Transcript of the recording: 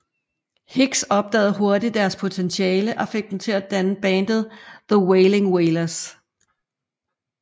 Higgs opdagede hurtigt deres potentiale og fik dem til at danne bandet The Wailing Wailers